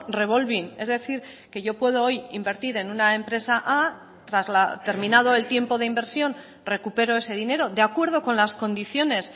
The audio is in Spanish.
revolving es decir que yo puedo hoy invertir en una empresa a terminado el tiempo de inversión recupero ese dinero de acuerdo con las condiciones